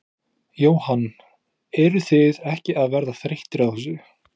Jóhann: Eruð þið ekki að verða þreyttir á þessu?